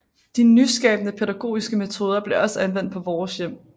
De nyskabende pædagogiske metoder blev også anvendt på Vores Hjem